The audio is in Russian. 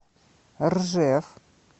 ржев